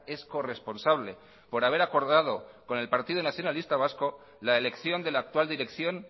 es corresponsable por haber acordado con el partido nacionalista vasco la elección de la actual dirección